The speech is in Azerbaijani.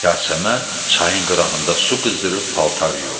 Yasəmən çayın qırağında su qızdırıb paltar yuyurdu.